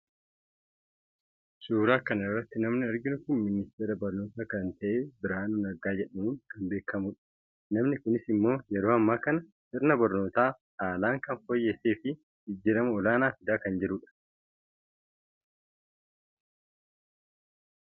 suuraa kan irratti namni arginu kun ministeera barnootaa kan ta'e birhaanuu naggaa jedhamuun kan beekamu dha. namni kunis immoo yeroo ammaa kana sirna barnootaa haalaan kan fooyyessseefi jijjiirama olaanaa fidaa kan jiru dha.